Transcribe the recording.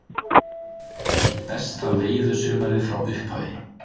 Eitt besta veiðisumarið frá upphafi